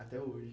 Até hoje?